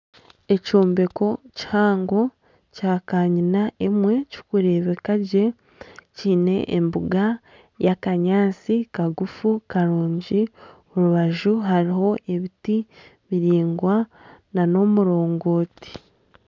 Ekyombeko kihango kya kanyina emwe kikurebeka gye kiine embuga y'akanyaatsi kagufu karungi omu rubaju hariho ebiti biraingwa nana omurongoti.